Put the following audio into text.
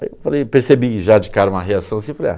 Aí eu percebi já de cara uma reação assim, falei, ah...